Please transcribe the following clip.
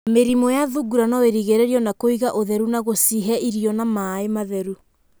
Mĩrimũ ya thungura no ĩrigĩrĩrio na kũiga ũtheru na gũcihe irio na maaĩ matheru.